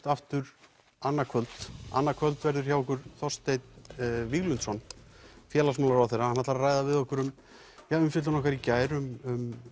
aftur annað kvöld annað kvöld verður hjá okkur Þorsteinn Víglundsson félagsmálaráðherra hann ætlar að ræða við okkur um umfjöllun okkar í gær um